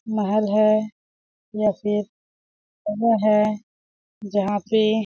--महल है जैसे है जहाँ पे--